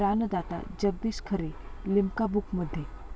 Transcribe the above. प्राणदाता' Jagdish Khare 'Limca बुक'मध्ये